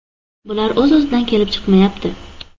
Bular o‘z-o‘zidan kelib chiqmayapti.